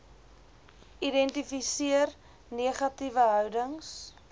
identifiseer negatiewe houdings